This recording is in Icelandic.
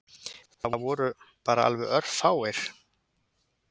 Það voru bara alveg örfáir.